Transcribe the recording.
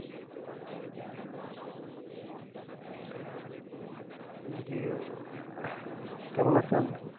জি আঃ কেমন আছেন